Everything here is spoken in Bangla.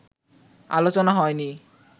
আলোচনা হয়নি